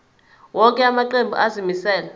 wonke amaqembu azimisela